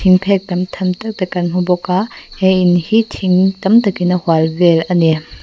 thingphek tam tham tak te kan hmubawk a he in hi thing tam tak in a hualvel ani.